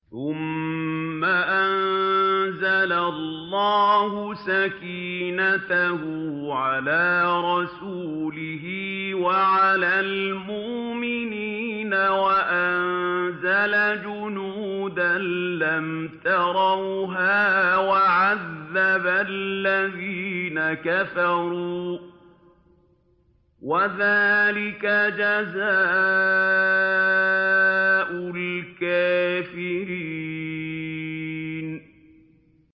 ثُمَّ أَنزَلَ اللَّهُ سَكِينَتَهُ عَلَىٰ رَسُولِهِ وَعَلَى الْمُؤْمِنِينَ وَأَنزَلَ جُنُودًا لَّمْ تَرَوْهَا وَعَذَّبَ الَّذِينَ كَفَرُوا ۚ وَذَٰلِكَ جَزَاءُ الْكَافِرِينَ